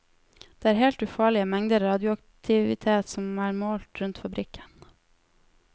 Det er helt ufarlige mengder radioaktivitet som er målt rundt fabrikken.